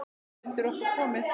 Það er undir okkur komið.